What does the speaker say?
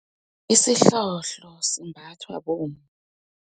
Isihloho simbathwa bomma.